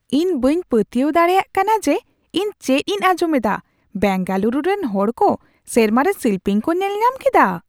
ᱤᱧ ᱵᱟᱹᱧ ᱯᱟᱹᱛᱭᱟᱹᱣ ᱫᱟᱲᱮᱭᱟᱜ ᱠᱟᱱᱟ ᱡᱮ ᱤᱧ ᱪᱮᱫ ᱤᱧ ᱟᱸᱡᱚᱢ ᱮᱫᱟ ! ᱵᱮᱝᱜᱟᱞᱩᱨᱩ ᱨᱮᱱ ᱦᱚᱲ ᱠᱚ ᱥᱮᱨᱢᱟ ᱨᱮ ᱥᱤᱞᱯᱤᱧ ᱠᱚ ᱧᱮᱞᱧᱟᱢ ᱠᱮᱫᱟ ᱾